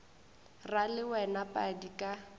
ra le wena padi ka